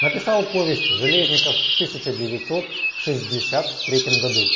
написал повесть железников в тысяча девятьсот шестьдесят третьем году